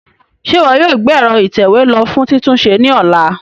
Ṣe iwọ yoo gbe ẹ̀ro itẹwe lo fun titunṣe ni ọla?